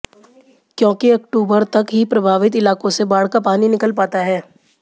क्योंकि अक्टूबर तक ही प्रभावित इलाकों से बाढ़ का पानी निकल पाता है